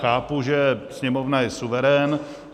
Chápu, že Sněmovna je suverén.